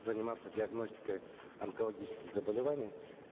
заниматься диагностикой онкологических заболеваний